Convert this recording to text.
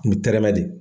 U bi tɛrɛmɛ de